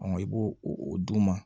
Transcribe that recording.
i b'o o d'u ma